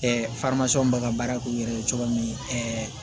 bɛ ka baara k'u yɛrɛ ye cogoya min